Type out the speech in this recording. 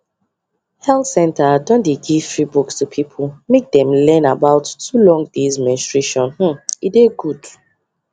health centre don dey give free books to people make them learn about too long days menstruationhmm e dey good